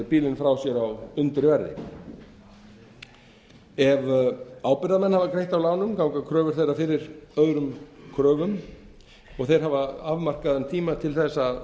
bílinn frá sér á undirverði ef ábyrgðarmenn hafa greitt af lánum ganga kröfur þeirra fyrir öðrum kröfum og þeir hafa afmarkaðan tíma til þess að